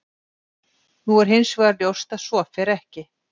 Nú er hins vegar ljóst að svo fer ekki.